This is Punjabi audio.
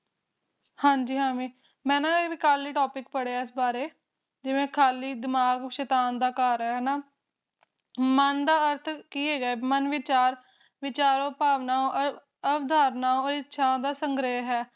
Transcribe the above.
ਹਾਜੀ ਮੇਂ ਨਾ ਕਲ ਹੀ topic ਪੜ੍ਹਿਆ ਇਸ ਬਾਰੇ ਕਿਵੇਂ ਖਾਲੀ ਦਿਮਾਗ ਸ਼ੈਤਾਨ ਦਾ ਘਰ ਮਨ ਦਾ ਅਰਥ ਕੀ ਹੈਗਾ ਮਨ ਵਿਚਾਰ ਵਿਚਾਰੋ ਭਾਵਨਾਵਾ ਅਧਾਰਨਾ ਅਤੇ ਇਸ਼ਾਵਾ ਦਾ ਸੰਗਰਹ ਹੈ